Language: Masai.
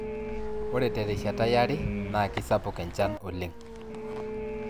Ore terishata yare naa keisapuk enchan oleng